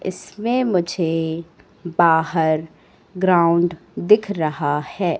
इसमें मुझे बाहर ग्राउंड दिख रहा है।